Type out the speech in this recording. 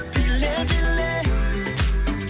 биле биле